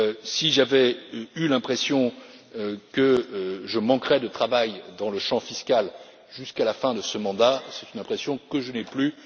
Si j'avais eu l'impression que je manquerais de travail dans le domaine fiscal jusqu'à la fin de ce mandat, c'est une impression que je n'ai plus.